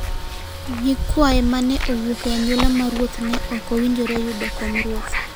nyikwaye ma ne wuok e anyuola mar ruoth ne ok owinjore yudo kom ruoth,